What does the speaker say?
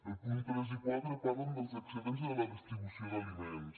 els punts tres i quatre parlen dels excedents de la distribució d’aliments